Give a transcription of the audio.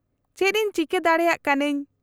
-ᱪᱮᱫ ᱤᱧ ᱪᱤᱠᱟᱹ ᱫᱟᱲᱮᱭᱟᱜ ᱠᱟᱹᱱᱟᱹᱧ ?